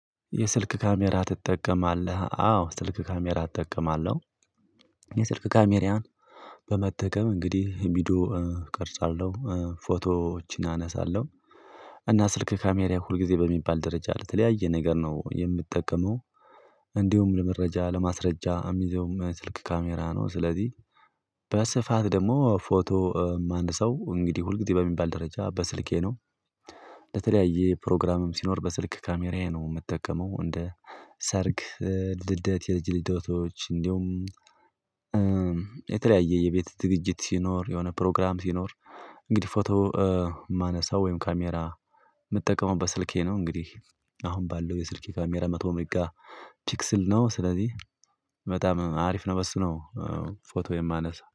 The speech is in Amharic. የስልክ ካሜራ ትጠቀማለህ? አዎ ስልክ ካሜራ እጠቀማለሁ የስልክ ካሜራየን በመጠቀም እንግዲህ ቪዲዮ ቀርጻለሁ ፎቶዎችን አነሳለሁ እና ስልክ ካሜራ ሁልጊዜ በሚባል ደረጃ ለተለያየ ነገር ነው የምጠቀመው እንዲሁም ለመረጃ ለማስረጃ የሚዘውም ስልክ ካሜራ ነው ስለዚህ በስፋት ደግሞ ፎቶ አንድ ሰው እንግዲህ ሁልጊዜ በሚባል ደረጃ በስልኬ ነው ለተለያየ ፕሮግራምም ሲኖር በስልክ ካሜራዬ ነው የምጠቀመው እንደ ሰርግ ልደት፣ የልጅ ልደቶች እንዲሁም የተለያየ የቤት ዝግጅት ሲኖር የሆነ ፕሮግራም ሲኖር እንግዲህ ፎቶ የማነሳው ወይም ካሜራ የምትጠቀመው በስልኬ ነው እንግዲህ አሁን ባለው የስልኬ ካሜራ መቶ ሜጋ ፒክስል ነው ስለዚህ በጣም አሪፍ ነው በሱ ነው ፎቶ የማነሳው